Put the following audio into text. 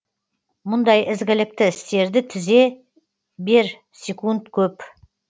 мұндай ізгілікті істерді тізе берсекунд көп